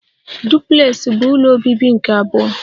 Duplex bụ ụlọ obibi nke abụọ